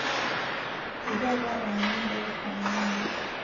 Eitu apa eaimini lopisaani ninye